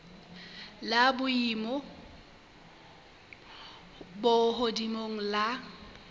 la boemo bo hodimo la